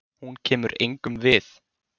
Hún kemur engum við.